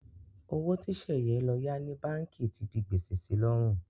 Owó tí Sẹ̀yẹ lọ yá ní báǹkì ti di gbèsè si lọ́rùn.